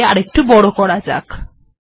এটিকেও একটু বড় করা যাক